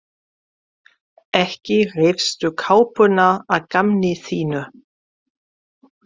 Ekki reifstu kápuna að gamni þínu!